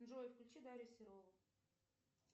джой включи дарью серову